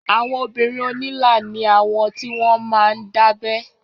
Àwọn obìrin onila ni awọn ti wọn máa ń dábẹ́